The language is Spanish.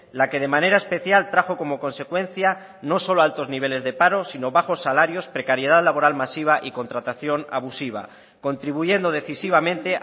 la que de manera especial trajo como consecuencia no solo altos niveles de paro sino bajos salarios precariedad laboral masiva y contratación abusiva contribuyendo decisivamente